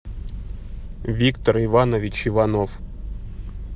виктор иванович иванов